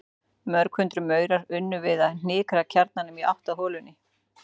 Mörg hundruð maurar unnu við að hnika kjarnanum í átt að holunni.